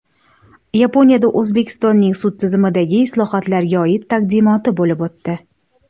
Yaponiyada O‘zbekistonning sud tizimidagi islohotlarga oid taqdimoti bo‘lib o‘tdi.